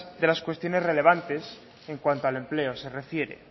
de las cuestiones relevantes en cuanto el empleo se refiere